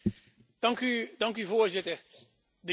Voorzitter, de jeugd heeft de toekomst.